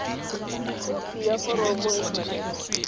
khopi ya foromo e tshwanetse